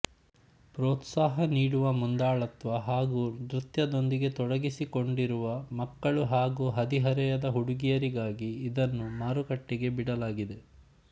ಪ್ರೋತ್ಸಾಹ ನೀಡುವ ಮುಂದಾಳತ್ವ ಹಾಗೂ ನೃತ್ಯದೊಂದಿಗೆ ತೊಡಗಿಸಿಕೊಂಡಿರುವ ಮಕ್ಕಳು ಹಾಗೂ ಹದಿಹರೆಯದ ಹುಡುಗಿಯರಿಗಾಗಿ ಇದನ್ನು ಮಾರುಕಟ್ಟೆಗೆ ಬಿಡಲಾಗಿದೆ